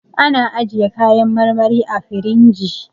An ajjiye kayan marmari a firinji